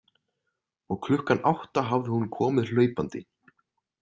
Og klukkan átta hafði hún komið hlaupandi.